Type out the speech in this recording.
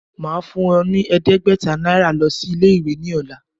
Màá fún ọ ní ẹ̀ẹ́dẹ́gbẹ̀ta Náírà lo sí Ilé ìwé ní òla